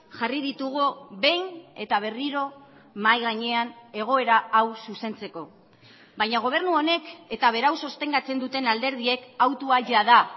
jarri ditugu behin eta berriro mahai gainean egoera hau zuzentzeko baina gobernu honek eta berau sostengatzen duten alderdiek hautua jada